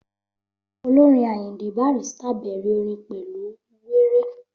Olórin Ayinde Barrister bẹ̀rẹ̀ orin pẹ̀lú wéré